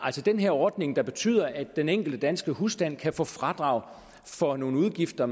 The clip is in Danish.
den her ordning der betyder at den enkelte danske husstand kan få fradrag for nogle udgifter